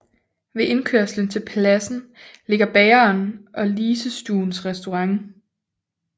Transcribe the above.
Ved indkørslen til pladsen ligger bageren og Lisestuens restaurant